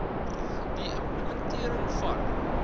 die implementering van